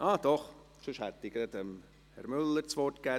– Doch, sonst hätte ich gleich Herrn Müller das Wort gegeben.